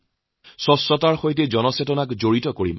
স্বচ্ছতাৰ সৈতে জনতাক জড়িত কৰিম